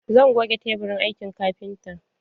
Zan goge teburin aikin kafintan